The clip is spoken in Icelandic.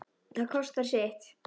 Það kostar sitt.